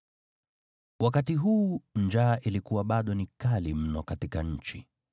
Wakati huu njaa ilikuwa bado ni kali mno katika nchi.